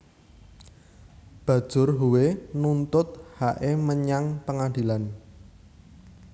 Bajur Howe nuntut hake manyang pengadilan